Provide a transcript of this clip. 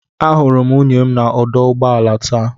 Ahụrụ m nwunye m na ọdụ ụgbọ ala taa.